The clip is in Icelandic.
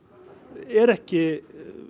er ekki